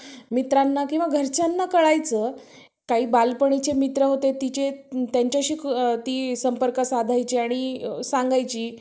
मित्रांना किंवा घरच्यांना कळायचं काही बालपणीचे मित्र होते तिचे त्यांच्याशी ती संपर्क साधायची आणि सांगायची.